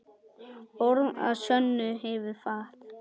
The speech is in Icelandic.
Borð að sönnu hefur fat.